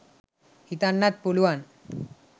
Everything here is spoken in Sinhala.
හිතන්නත් පුළුවන්.